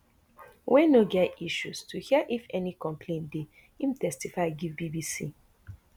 wey no get any isues to hear if ay complain dey im testify give bbc